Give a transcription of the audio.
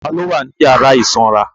Ta ló wà ní yàrá ìsanra